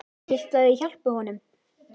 Viltu að ég hjálpi honum?